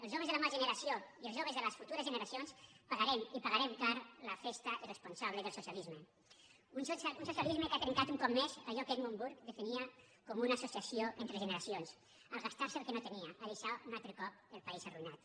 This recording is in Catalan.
els joves de la meua generació i els joves de les futures generacions pagarem i pagarem cara la festa irresponsable del socialisme un socialisme que ha trencat un cop més allò que edmund burke definia com una associació entre generacions al gastar se el que no tenia a deixar un altre cop el país arruïnat